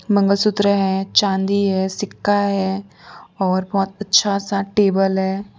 मंगलसूत्र रहे हैं चांदी है सिक्का है और बहुत अच्छा सा टेबल है।